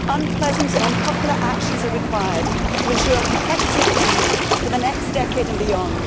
Unpleasant and unpopular actions are required to ensure a competitive EU for the next decade and beyond.